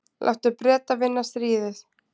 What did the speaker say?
Láttu Breta vinna stríðið.